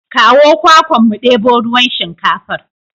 Kawo kwakwan mu ɗebo ruwan shinkafar.